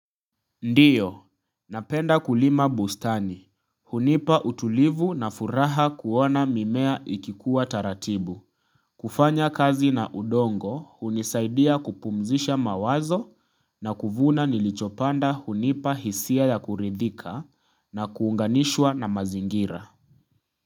Ndiyo, napenda kulima bustani. Hunipa utulivu na furaha kuona mimea ikikuwa taratibu. Kufanya kazi na udongo hunisaidia kupumzisha mawazo na kuvuna nilichopanda hunipa hisia ya kuridhika na kuunganishwa na mazingira.